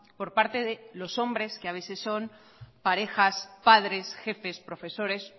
por parte de los hombres que a veces son parejas padres jefes profesores